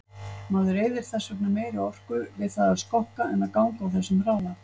Maður eyðir þess vegna meiri orku við það að skokka en ganga á þessum hraða.